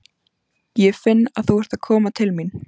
Ég finn að þú ert að koma til mín.